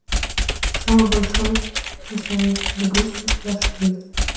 самый большой смысловой нагрузкой в вашей жизни